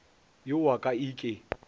yo wa ka e ke